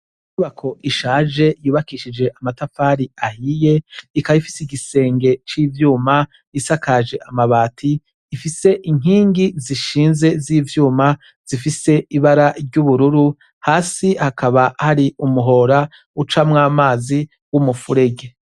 Inyubako ishaje yubakishije amatafari ahiye ikaba ifise igisenge c'ivyuma isakaje amabati ifise inkingi zishinze z'ivyuma zifise ibara ry'ubururu, hasi hakaba hari umuhora ucamwo amazi w'umufurege.